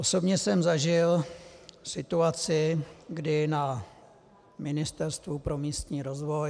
Osobně jsem zažil situaci, kdy na Ministerstvu pro místní rozvoj ...